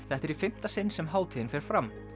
þetta er í fimmta sinn sem hátíðin fer fram